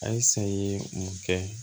A ye san ye mun kɛ